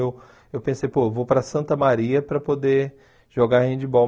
Aí eu eu pensei, pô, vou para Santa Maria para poder jogar handball.